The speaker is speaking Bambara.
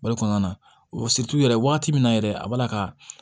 Bari kɔnɔna na o yɛrɛ waati min na yɛrɛ a b'a la ka